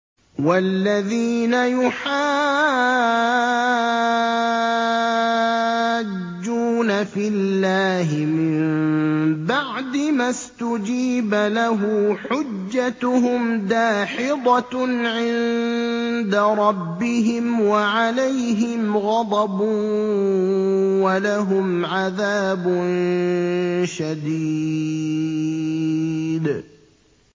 وَالَّذِينَ يُحَاجُّونَ فِي اللَّهِ مِن بَعْدِ مَا اسْتُجِيبَ لَهُ حُجَّتُهُمْ دَاحِضَةٌ عِندَ رَبِّهِمْ وَعَلَيْهِمْ غَضَبٌ وَلَهُمْ عَذَابٌ شَدِيدٌ